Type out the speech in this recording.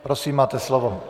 Prosím, máte slovo.